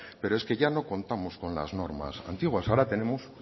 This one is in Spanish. pero es que ya no contamos con las normas antiguas ahora tenemos